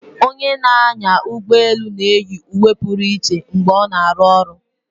Onye na-anya ụgbọelu na-eyi uwe pụrụ iche mgbe ọ na-arụ ọrụ